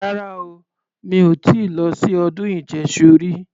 Rara o. Mi ò ti lọ sí ọdún ìjẹṣu rí.